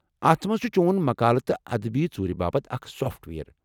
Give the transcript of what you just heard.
اتھ منٛز چھٗ چون مقالہٕ تہٕ ادبی ژوُرِ باپت اکھ سافٹ ویر۔